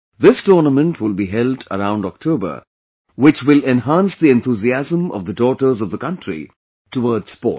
This tournament will be held around October, which will enhance the enthusiasm of the daughters of the country towards sports